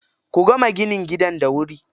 Ku gama ginin gidan da wuri.